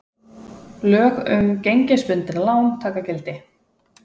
Lög um gengisbundin lán taka gildi